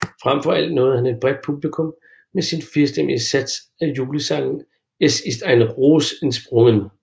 Frem for alt nåede han et bredt publikum med sin firstemmige sats af julesangen Es ist ein Ros entsprungen